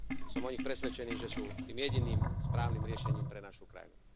som o nich presvedčený, že sú tým jediným správnym riešením pre našu krajinu.